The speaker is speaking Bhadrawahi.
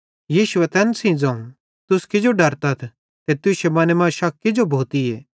यीशुए तैन सेइं ज़ोवं तुस किजो डर्रेथ ते तुश्शे मने मां शक किजो भोतीए